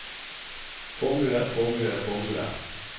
formue formue formue